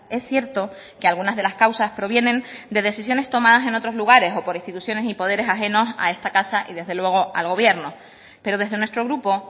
es cierto que algunas de las causas provienen de decisiones tomadas en otros lugares o por instituciones y poderes ajenos a esta casa y desde luego al gobierno pero desde nuestro grupo